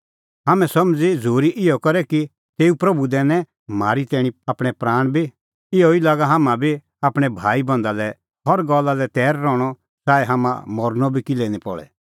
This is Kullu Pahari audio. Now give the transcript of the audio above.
हाम्हैं समझ़ी झ़ूरी इहअ करै कि तेऊ प्रभू दैनै म्हारी तैणीं आपणैं प्राण बी इहअ ई लागा हाम्हां बी आपणैं भाईबंधा लै हर गल्ला लै तैर रहणअ च़ाऐ हाम्हां मरनअ बी किल्है निं पल़े